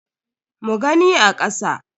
Mu gani a kasa.